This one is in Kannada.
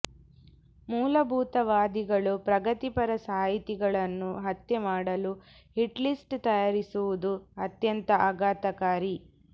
ಮೂಲಭೂತವಾದಿಗಳು ಪ್ರಗತಿಪರ ಸಾಹಿತಿಗಳನ್ನು ಹತ್ಯೆ ಮಾಡಲು ಹಿಟ್ಲಿಸ್ಟ್ ತಯಾರಿಸಿರುವುದು ಅತ್ಯಂತ ಆಘಾತಕಾರಿ